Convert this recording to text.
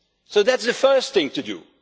So that is the first thing to do.